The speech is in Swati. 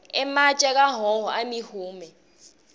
ematje akahhohho ayimihume